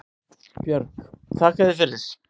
Björg: Þakka þér fyrir